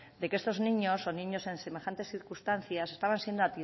de que estos niños o niños que en semejantes circunstancias estaban siendo